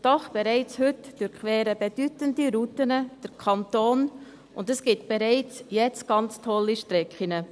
Doch bereits heute durchqueren bedeutende Routen den Kanton, und es gibt bereits jetzt ganz tolle Strecken.